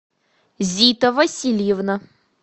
зита васильевна